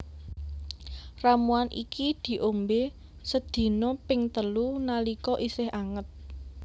Ramuan iki diombé sedina ping telu nalika isih anget